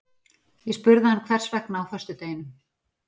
Ég spurði hann hvers vegna á föstudeginum?